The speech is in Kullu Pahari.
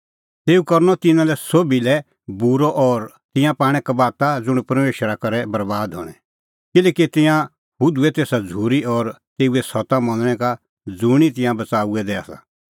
तेऊ करनअ तिन्नां लै सोभी साबै बूरअ और तिंयां पाणै कबाता ज़ुंण परमेशरा करै बरैबाद हणैं किल्हैकि तिंयां हुधूऐ तेसा झ़ूरी और तेऊ सत्ता मनणै का ज़ुंणी तिंयां बच़ाऊऐ दै आसा